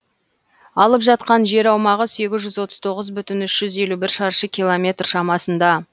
алып жатқан жер аумағы сегіз жүз отыз тоғыз бүтін үш жүз елу бір шаршы километр шамасында